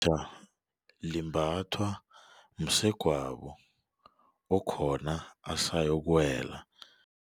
limbathwa msegwabo okhona asayokuwela.